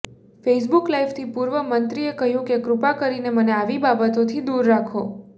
Facebook લાઇવથી પુર્વ મંત્રીએ કહ્યું કે કૃપા કરીને મને આવી બાબતો થી દુર રાખો